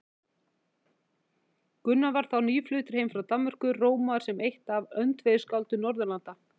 Gunnar var þá nýfluttur heim frá Danmörku, rómaður sem eitt af öndvegisskáldum Norðurlanda.